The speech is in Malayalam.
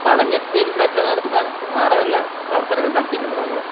പഠനത്തിൽ മെച്ചനടത്താൻ വേറെ വല്ല പ്രവർത്തനങ്ങളും നടത്തിയിട്ടുണ്ടോ താങ്കൾ?